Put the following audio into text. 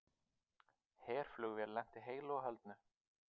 Herflugvél lenti heilu og höldnu